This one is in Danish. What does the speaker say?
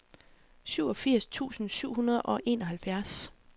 syvogfirs tusind syv hundrede og enoghalvfjerds